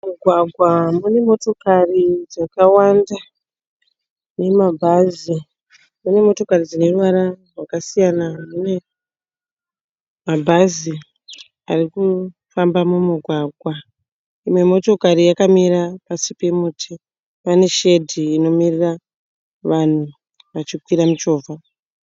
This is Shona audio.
Mumugwagwa munemotookari dzakawanda nemabhazi. Mune motokari dzine ruvara rwakasiyana huye mabhazi ari kufamba mumugwagwa. Imwe motokari yakamira pasi pemuti pane shedhi inomirira vanhu vachikwira michovha.